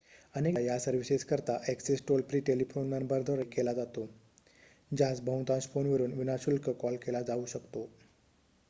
अनेकदा या सर्विसेस करिता ऍक्सेस टोल-फ्री टेलिफोन नंबरद्वारे केला जातो ज्यास बहुतांश फोनवरून विना-शुल्क कॉल केला जाऊ शकतो